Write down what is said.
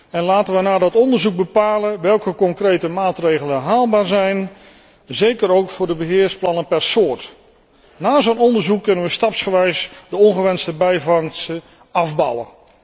En laten wij na dat onderzoek bepalen welke concrete maatregelen haalbaar zijn, zeker ook voor de beheersplannen per soort. Na een dergelijk onderzoek kunnen wij stapsgewijs de ongewenste bijvangsten afbouwen.